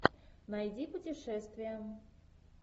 найди путешествия